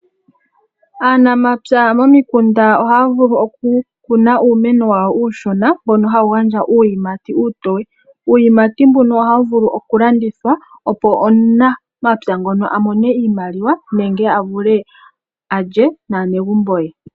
Aanamapya momikunda ohaya vulu okukuna uumeno uushona mbono hawu gandja uuyimati uushona . Uuyimati mbuno ohawu vulu okulandithwa opo omunamapya ngono amone iimaliwa nenge avule alye naanegumbo ye.